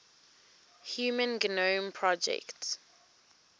human genome project